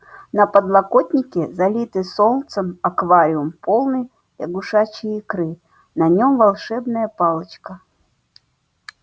на подоконнике залитый солнцем аквариум полный лягушачьей икры на нём волшебная палочка